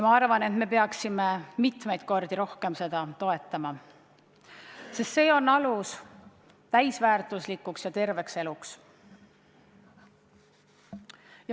Ma arvan, et me peaksime mitmeid kordi rohkem seda programmi toetama, sest see annab aluse täisväärtuslikuks ja terveks eluks.